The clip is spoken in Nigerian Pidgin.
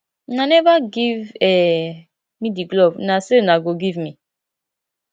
una never give um me the glove una say una go give me